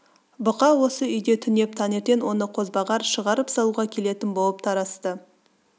бұқа осы үйде түнеп таңертең оны қозбағар шығарып салуға келетін болып тарасты